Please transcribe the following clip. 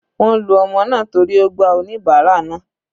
Wọ́n lu ọmọ náà torí ó gba oníbárà náà.